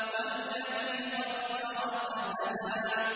وَالَّذِي قَدَّرَ فَهَدَىٰ